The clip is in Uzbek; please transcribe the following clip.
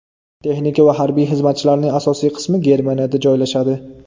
Texnika va harbiy xizmatchilarning asosiy qismi Germaniyada joylashadi.